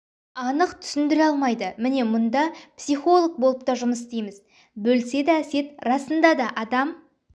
анық түсіндіре алмайды міне мұнда психолог болып та жұмыс істейміз бөліседі әсет расында да адам